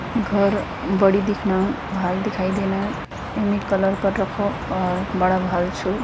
घर बड़ी दिखना भाल दिखाई देना इमे कलर कर रखो और बड़ा भाल छू।